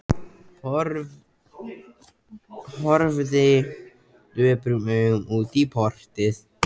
Horfði döprum augum út í portið.